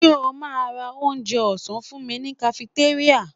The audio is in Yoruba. Ṣo ma ra onjẹ ọ̀sán fúnmi ní kafitéríà?